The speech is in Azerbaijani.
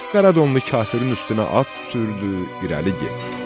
Qaradonlu kafirin üstünə at sürdü, irəli getdi.